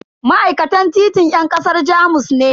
Ma'aikatan titin yan kasar Jamus ne.